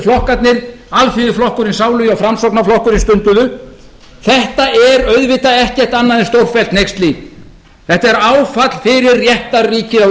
hinir hersetuflokkarnir alþýðuflokkurinn sálugi og framsóknarflokkurinn stunduðu þetta er auðvitað ekkert annað en stórfellt hneyksli þetta er áfall fyrir réttarríkið á